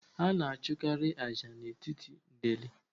A na achụkarị ájá n'etiti ndeli